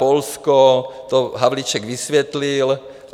Polsko - to Havlíček vysvětlil.